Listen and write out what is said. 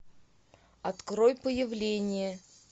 открой появление